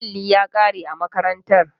Alli ya kare a makarantar.